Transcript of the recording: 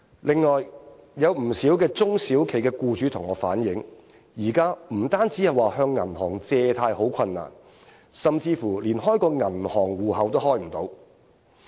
此外，有不少中小型企業僱主向我反映，現時不單向銀行借貸好困難，甚至乎連開銀行戶口都開不到。